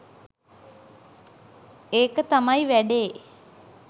ඒක තමයි වැඩේ.